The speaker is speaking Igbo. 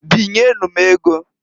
Binye nu m ego.